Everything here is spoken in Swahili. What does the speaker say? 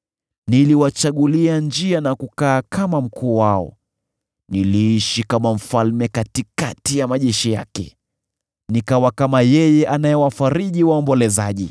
Niliwachagulia njia na kukaa kama mkuu wao; niliishi kama mfalme katikati ya majeshi yake; nikawa kama yeye anayewafariji waombolezaji.